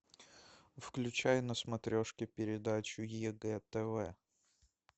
включай на смотрешке передачу егэ тв